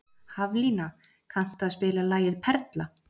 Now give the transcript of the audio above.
Haflína, kanntu að spila lagið „Perla“?